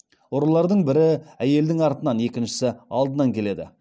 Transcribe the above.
ұрылардың бірі әйелдің артынан екіншісі алдынан келеді